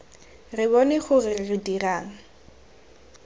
re bone gore re dirang